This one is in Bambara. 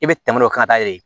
E bɛ tɛmɛ dɔ kan ka taa yɛlɛ ye